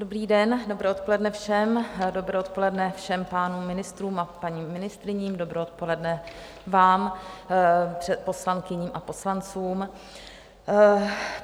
Dobrý den, dobré odpoledne všem, dobré odpoledne všem pánům ministrům a paním ministryním, dobré odpoledne vám, poslankyním a poslancům.